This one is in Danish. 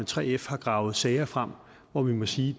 3f har gravet sager frem hvor man må sige